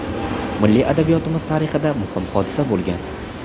milliy adabiyotimiz tarixida muhim hodisa bo‘lgan.